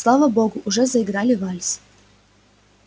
слава богу уже заиграли вальс